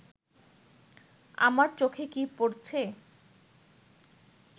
আমার চোখে কি পড়ছে